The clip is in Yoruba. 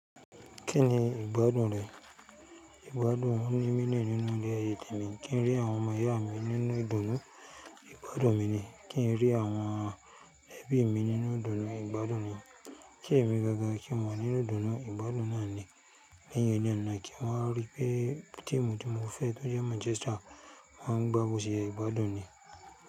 Kí ni ìgbádùn rẹ? Ìgbádùn mi ni mí nínú ilé ayé tí mi kí n rí àwọn ọmọ ìyá mi nínú ìdùnnú, ìgbádùn mi ni kí n rí àwọn ẹbí mi nínú ìdùnnú, ìgbádùn mi kí èmi gangan kí wa nínú ìdùnnú, ìgbádùn náà ni lẹ́yìn eleyí nà kí waa n rí pé tíìmù tí mo fẹ́ tó jẹ Manchester máa ń gba bo se ye ìgbádùn ni.